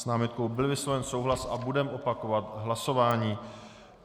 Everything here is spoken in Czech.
S námitkou byl vysloven souhlas a budeme opakovat hlasování.